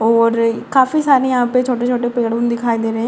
और काफी सारे यहां पे छोटे-छोटे पेड़ उड़ दिखाई दे रहे हैं।